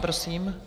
Prosím.